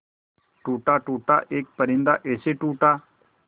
टूटा टूटा एक परिंदा ऐसे टूटा